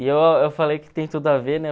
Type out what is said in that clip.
eu falei que tem tudo a ver, né?